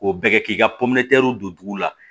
K'o bɛɛ kɛ k'i ka don dugu la